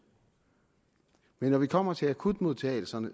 men når vi kommer til akutmodtagelserne